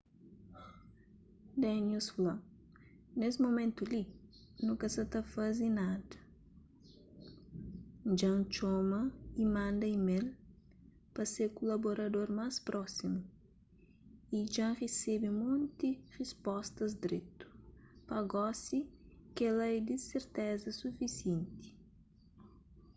danius fla nes mumentu li nu ka sa ta faze nada dja-n txoma y manda email pa se kulaborador más prósimu y dja-n resebe monti rispostas dretu pa gosi kel-la é di serteza sufisienti